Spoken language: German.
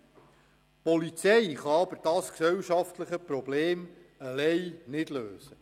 Die Polizei kann aber dieses gesellschaftliche Problem nicht alleine lösen.